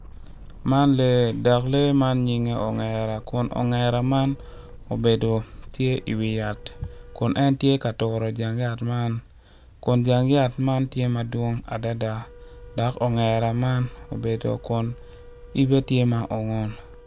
Man lee dok lee man nyinge ongera obedo tye iwi yat kun en tye ka turo jang yat man kun jamg yat man tye madwong adada dok ongera man obedo kun yibe tye ma ongun.